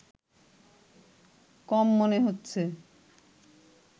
কম মনে হচ্ছে